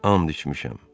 and içmişəm.